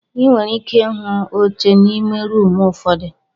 Ị nwere ike ịhụ oche n'ime rumụ ụfọdụ.